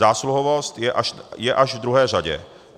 Zásluhovost je až v druhé řadě.